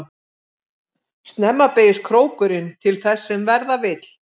Snemma beygist krókurinn til þess sem verða vill.